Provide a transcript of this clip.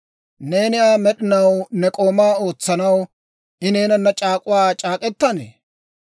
Neeni Aa med'inaw ne k'ooma ootsanaw, I neenanna c'aak'uwaa c'aak'k'etannee?